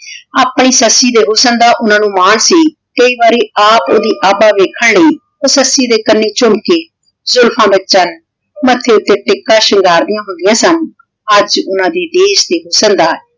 ਆਪਣੀ ਸੱਸੀ ਦੇ ਹੁਸਨ ਦਾ ਓਹਨਾਂ ਨੂ ਮਾਨ ਸੀ ਕਈ ਵਾਰੀ ਆਪ ਓਹਦੀ ਆਬਾ ਵੇਖਣ ਲੈ ਊ ਸੱਸੀ ਦੇ ਕਾਨੀ ਝੁਮਕੇ ਜੁਲਫਾਂ ਦਾ ਚਾਨ ਮਾਥੇ ਊਟੀ ਟਿੱਕਾ ਸ਼ਿਨ੍ਨ੍ਗਾਰ੍ਦਿਯਾਂ ਹੁੰਦਿਯਾਂ ਸਨ ਆਜ ਓਹਨਾਂ ਨੀ ਦੇਖ ਤੇ ਹੁਸਨ ਦਾ